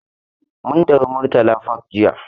Mun tafi Murtala park jiya.